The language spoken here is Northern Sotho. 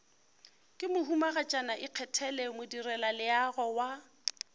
ke mohumagatšana ikgethele modirelaleago wa